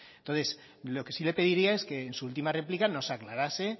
entonces lo que sí le pediría es que en su última réplica nos aclarase